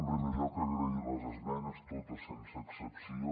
en primer lloc agrair les esmenes totes sense excepció